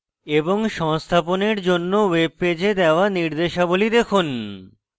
এবং সংস্থাপনের জন্য web পেজে দেওয়া নির্দেশাবলী দেখুন